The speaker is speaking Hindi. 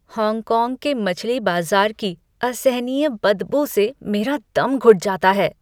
हॉन्गकॉन्ग के मछली बाज़ार की असहनीय बदबू से मेरा दम घुट जाता है।